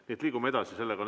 Nii et liigume edasi.